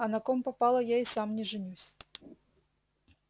а на ком попало я и сам не женюсь